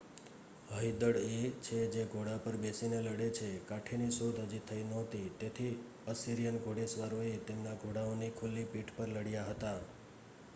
હયદળ એ છે જે ઘોડા પર બેસીને લડે છે કાઠીની શોધ હજી થઈ નહોતી તેથી અસિરિયન ઘોડેસવારોએ તેમના ઘોડાઓની ખુલ્લી પીઠ પર લડ્યા હતા